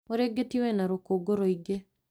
Mũrĩngĩti wĩna rũkũngũrũingĩ